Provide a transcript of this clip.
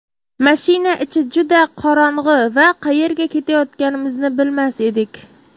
Mashina ichi juda qorong‘i va qayerga ketayotganimizni bilmas edik.